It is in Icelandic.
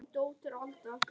Hún lekur niður á gólfið.